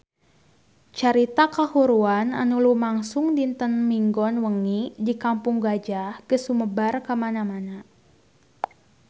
Carita kahuruan anu lumangsung dinten Minggon wengi di Kampung Gajah geus sumebar kamana-mana